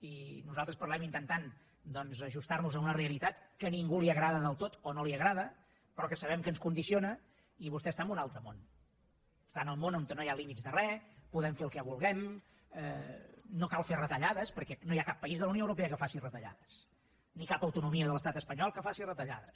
i nosaltres parlem intentant doncs ajustar nos a una realitat que a ningú li agrada del tot o no li agrada però que sabem que ens condiciona i vostè està en un altre món està en el món on no hi ha límits de re podem fer el que vulguem no cal fer retallades perquè no hi ha cap país de la unió europea que faci retallades ni cap autonomia de l’estat espanyol que faci retallades